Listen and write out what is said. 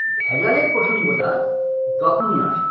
ভেজালের প্রসঙ্গটা তখনই আসে